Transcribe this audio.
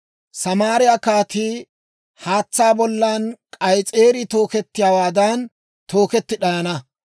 Samaariyaa kaatii haatsaa bollan k'ayis'eerii tookettiyaawaadan, tooketti d'ayana.